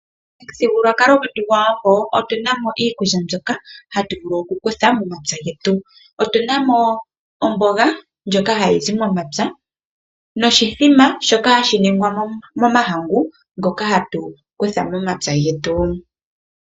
Momuthigululwakalo gwetu gOshiwambo otu na mo iikulya mbyoka hatu vulu okukutha momapya getu. Otu na mo omboga ndjoka hayi zi momapya noshithima shoka hashi telekwa momahangu ngoka hatu kutha momapya getu.